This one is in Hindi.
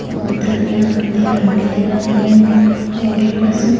और धनिया दिखाई दे रहा है और लहसुन--